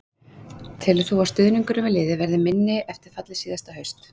Telur þú að stuðningurinn við liðið verði minni eftir fallið síðasta haust?